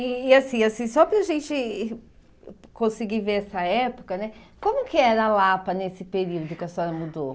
E assim, assim só para a gente conseguir ver essa época né, como que era Lapa nesse período que a senhora mudou?